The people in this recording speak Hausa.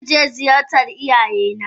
Zanje jnziyarci iyayena.